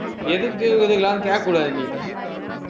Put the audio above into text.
எதுக்கு கேட்கக் கூடாது நீ